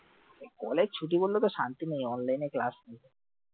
college ছুটি পড়লেতো শান্তি নেই online এ class বুক আছে